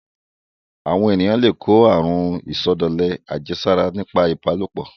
Àwọn èyàn le kó àrun ìsọdọ̀lẹ àjẹsára nípa ìbálòpọ̀.